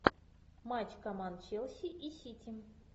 матч команд челси и сити